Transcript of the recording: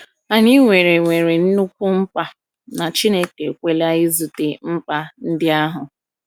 Anyị nwere nwere nnukwu mkpa, na Chineke ekweela izute mkpa ndị ahụ.